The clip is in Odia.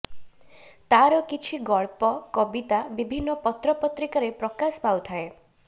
ତାର କିଛି ଗଳ୍ପ କବିତା ବିଭିନ୍ନ ପତ୍ର ପତ୍ରିକାରେ ପ୍ରକାଶ ପାଉଥାଏ